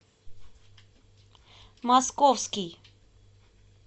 московский